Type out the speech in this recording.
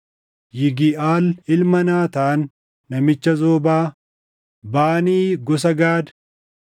Yigiʼaal ilma Naataan namicha Zoobaa, Baanii gosa Gaad,